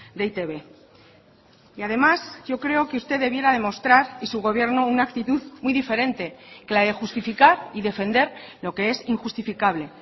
de e i te be y además yo creo que usted debiera demostrar y su gobierno una actitud muy diferente que la de justificar y defender lo que es injustificable